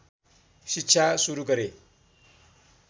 शिक्षा सुरु गरे